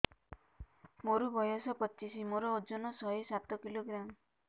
ମୋର ବୟସ ପଚିଶି ମୋର ଓଜନ ଶହେ ସାତ କିଲୋଗ୍ରାମ